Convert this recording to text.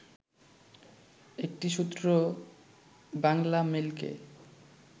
একটি সূত্র বাংলামেইলকে